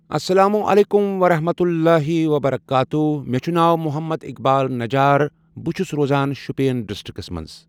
السلام عليكم ورحمة اللهِ وبركاتهٗ مےٚ چھ ناو محمد اقبال نجار بہٕ چھُس روزان شُپین ڈسٹرکٹس منز۔